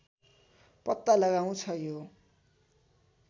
पत्ता लगाउँछ यो